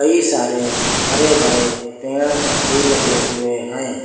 कई सारे हरे भरे पेड़ भी लगे हुए हैं।